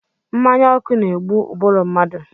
Mmanya ọkụ na-egbu ụbụrụ mmadụ.